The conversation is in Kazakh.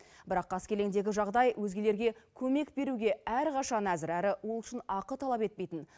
бірақ қаскелеңдегі жағдай өзгелерге көмек беруге әрқашан әзір әрі ол үшін ақы талап етпейтін